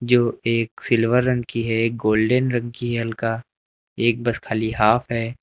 जो एक सिल्वर रंग की है एक गोल्डेन रंग की है हल्का एक बस खाली हाफ है।